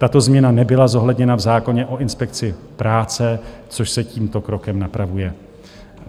Tato změna nebyla zohledněna v zákoně o inspekci práce, což se tímto krokem napravuje.